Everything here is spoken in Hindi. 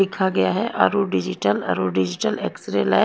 लिखा गया है Arun digital Arun digital X ray lab.